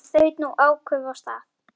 En þaut nú áköf af stað.